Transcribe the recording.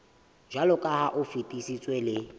jwaloka ha o fetisitswe le